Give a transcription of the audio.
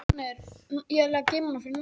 Segir Pakistan athvarf hryðjuverkamanna